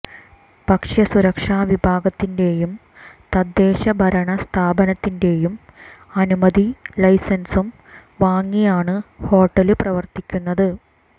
ഭക്ഷ്യ സുരക്ഷ വിഭാഗത്തിന്റെയും തദ്ദേശ ഭരണ സ്ഥാപനത്തിന്റെയും അനുമതിയും ലൈസന്സും വാങ്ങിയാണ് ഹോട്ടല് പ്രവര്ത്തിക്കുന്നത്